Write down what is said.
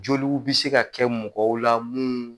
Joliw be se ka kɛ mɔgɔw la munnu